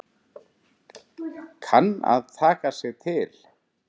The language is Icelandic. Kann að taka sig til.